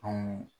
Anw